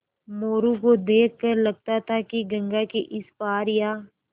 मोरू को देख कर लगता था कि गंगा के इस पार या